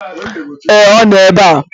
Ee, ọ nọ ebe a